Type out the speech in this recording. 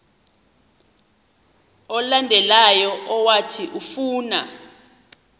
olandelayo owathi ufuna